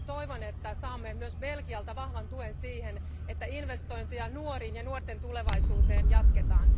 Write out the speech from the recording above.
Toivon, että saamme myös Belgialta vahvan tuen siihen, että investointeja nuoriin ja nuorten tulevaisuuteen jatketaan.